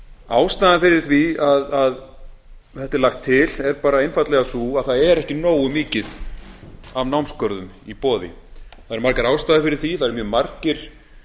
ástæðan fyrir því að þetta er lagt til er bara einfaldlega sú að það er ekki nógu mikið af námsgörðum í boði það eru margar ástæður fyrir því að eru mjög margir